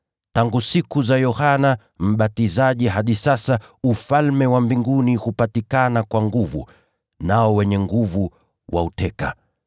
Tangu siku za Yohana Mbatizaji hadi sasa, Ufalme wa Mbinguni hupatikana kwa nguvu, nao wenye nguvu wanauteka.